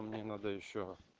мне надо ещё